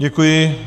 Děkuji.